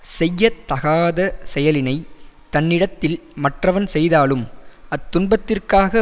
செய்ய தகாத செயலினைத் தன்னிடத்தில் மற்றவன் செய்தாலும் அத்துன்பத்திற்காக